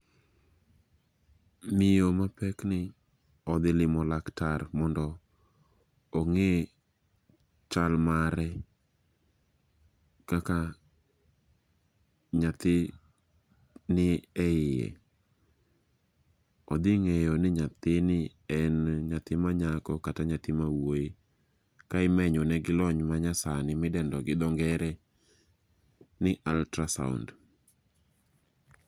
Miyo mapek ni odhi limo laktar mondo ong'i chal mare. Kaka nyathi ni e iye. Odhi ng'iyo ni nyathini en nyathi manyako kata mawuoyi. Ka imenyone gi lony manyasani, midendo gi dho ngere ni ultrasound